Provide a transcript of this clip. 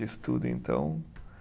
Tudo. Então,